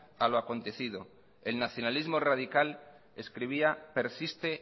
a lo acontecido el nacionalismo rádical escribía persiste